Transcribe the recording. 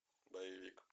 боевик